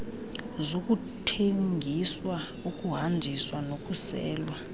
zokuthengiswa ukuhanjiswa nokuselwa